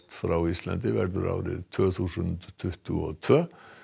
frá Íslandi verður árið tvö þúsund tuttugu og tvö